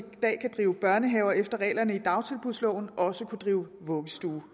dag kan drive børnehave efter reglerne i dagtilbudsloven også kunne drive vuggestue